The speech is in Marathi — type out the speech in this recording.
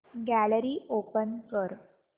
गॅलरी ओपन कर